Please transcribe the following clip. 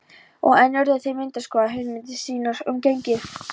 Og enn urðu þeir að endurskoða hugmyndir sínar um genið.